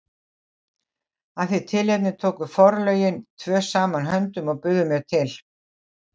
Af því tilefni tóku forlögin tvö saman höndum og buðu mér til